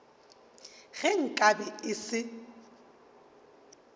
ge nka be e se